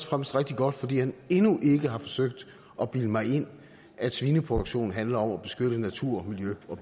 fremmest rigtig godt fordi han endnu ikke har forsøgt at bilde mig ind at svineproduktion handler om at beskytte natur miljø og